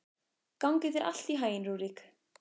Gangi þér allt í haginn, Rúrik.